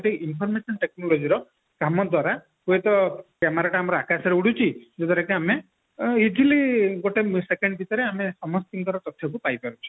ଏଠି environmental technology ର କାମ ଦ୍ଵାରା ହୁଏତ camera ତ ଆମର ଆକାଶରେ ଉଡୁଛି ଏଠି ଆମେ easily ଗୋଟେ second ଭିତରେ ଆମେ ସମସ୍ତିଙ୍କର ତଥ୍ୟକୁ ପାଇ ପାରିବା